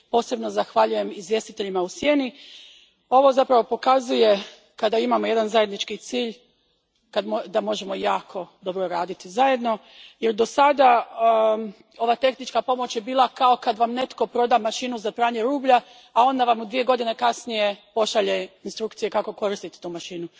Posebno zahvaljujem izvjestiteljima u sjeni. Ovo zapravo pokazuje, kada imamo zajednički cilj da možemo jako dobro raditi zajedno jer je dosad ova tehnička pomoć bila kao kada vam netko proda mašinu za pranje rublja, a onda vam dvije godine kasnije pošalje instrukcije kako koristiti tu mašinu.